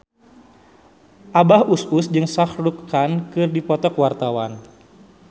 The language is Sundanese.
Abah Us Us jeung Shah Rukh Khan keur dipoto ku wartawan